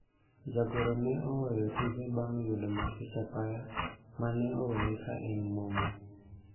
jagoro ne oweyo tije bang' yudo masich apaya mane oweye ka en momo